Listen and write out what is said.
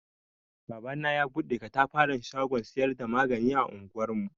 Babana ya bude ƙatafaran shagon siyar da magani a anguwar mu.